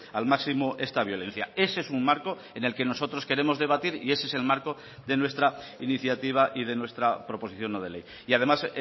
al máximo esta violencia ese es un marco en el que nosotros queremos debatir y ese es el marco de nuestra iniciativa y de nuestra proposición no de ley y además